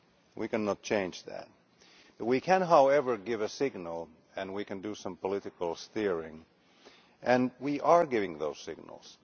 We cannot change that. We can, however, give a signal and do some political steering, and we are giving those signals.